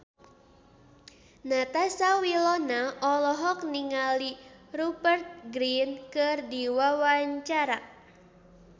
Natasha Wilona olohok ningali Rupert Grin keur diwawancara